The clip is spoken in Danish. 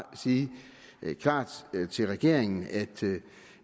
sige klart til regeringen at